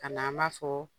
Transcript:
Ka na an b'a fɔ